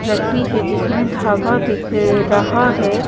रखी है जिसमें धागा दिख रहा है।